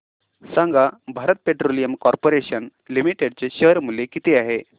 सांगा Bharat petroleum corporation limited चे share मूल्य किती आहे